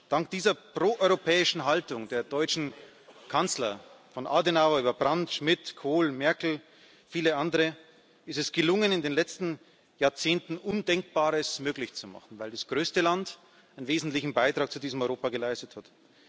Dank dieser proeuropäischen Haltung der deutschen Kanzler von Adenauer über Brandt, Schmidt, Kohl, Merkel und viele andere ist es gelungen, in den letzten Jahrzehnten Undenkbares möglich zu machen, weil das größte Land einen wesentlichen Beitrag zu diesem Europa geleistet hat.